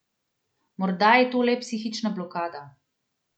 Morda je to le psihična blokada.